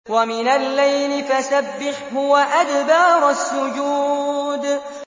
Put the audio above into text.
وَمِنَ اللَّيْلِ فَسَبِّحْهُ وَأَدْبَارَ السُّجُودِ